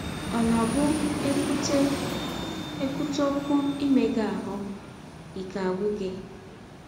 Ọ̀ na - abụ e kwụte e kwụte ọkwụ “ imega ahụ́ ” ike agwụ gị?